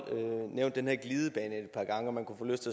nævnt den her glidebane et par gange og man kunne få lyst